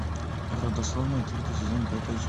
родословная третий сезон пятая